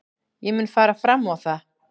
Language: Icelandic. Ég mun fara fram á það.